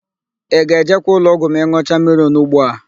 Ị ga-ejekwa ụlọọgwụ ma ị n̄ụcha mmiri ọnugbo a?